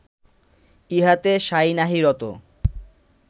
ইহাতে সাঁই নাহি রত